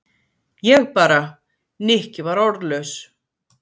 Ég bara. Nikki var orðlaus.